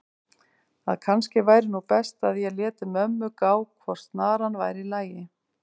að kannski væri nú best að ég léti mömmu gá hvort snaran væri í lagi.